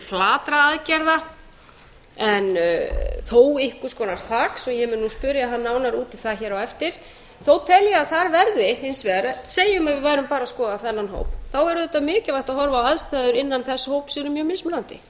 flatra aðgerða en þó einhvers konar þaks svo ég mun nú spyrja hann nánar út í það á eftir þó tel ég að þar verði hins vegar segjum að við værum bara að skoða þennan hóp þá er auðvitað mikilvægt að horfa á að aðstæður innan þess eru